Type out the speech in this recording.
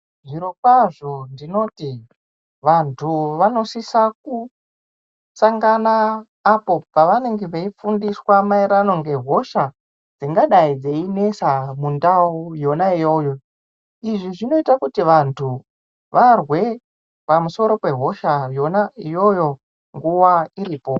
Zvirokwazvo ndinoti vantu vanosisa kusangana apo pavanenge veifundiswa ngehosha dzingadai dzeinesa mundau yona iyoyo, izvi zvinoita kuti vantu varwe pamusoro pehosha iyoyo nguwa iripo.